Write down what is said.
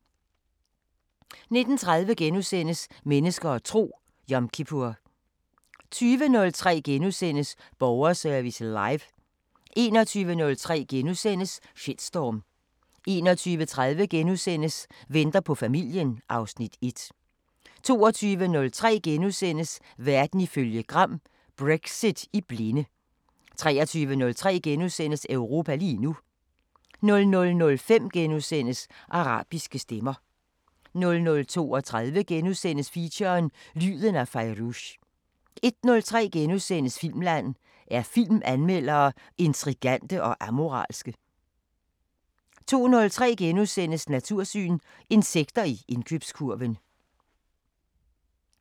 19:30: Mennesker og tro: Yom kippur * 20:03: Borgerservice Live * 21:03: Shitstorm * 21:30: Venter på familien (Afs. 1)* 22:03: Verden ifølge Gram: Brexit i blinde * 23:03: Europa lige nu * 00:05: Arabiske Stemmer * 00:32: Feature: Lyden af Fairuz * 01:03: Filmland: Er filmanmeldere intrigante og amoralske? * 02:03: Natursyn: Insekter i indkøbskurven *